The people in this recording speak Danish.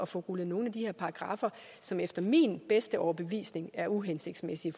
få rullet nogle af de her paragraffer som efter min bedste overbevisning er uhensigtsmæssige